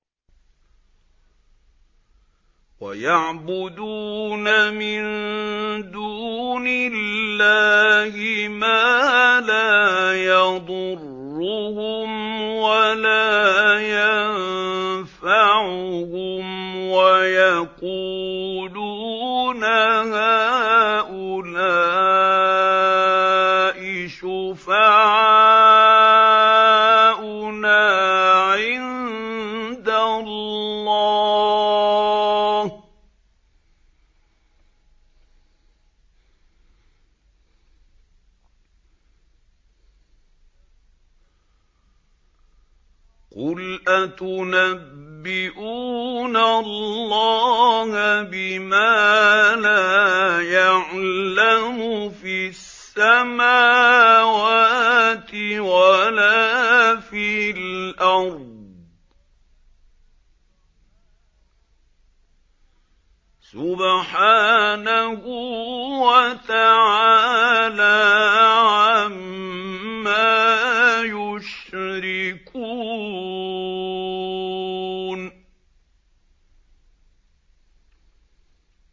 وَيَعْبُدُونَ مِن دُونِ اللَّهِ مَا لَا يَضُرُّهُمْ وَلَا يَنفَعُهُمْ وَيَقُولُونَ هَٰؤُلَاءِ شُفَعَاؤُنَا عِندَ اللَّهِ ۚ قُلْ أَتُنَبِّئُونَ اللَّهَ بِمَا لَا يَعْلَمُ فِي السَّمَاوَاتِ وَلَا فِي الْأَرْضِ ۚ سُبْحَانَهُ وَتَعَالَىٰ عَمَّا يُشْرِكُونَ